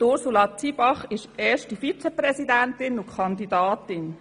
Ursula Zybach ist erste Vizepräsidentin und Kandidatin.